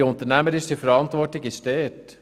Die unternehmerische Verantwortung liegt beim ihm.